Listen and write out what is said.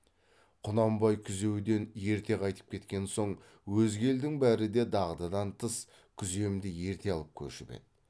құнанбай күзеуден ерте қайтып кеткен соң өзге елдің бәрі де дағдыдан тыс күземді ерте алып көшіп еді